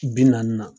Bi naani na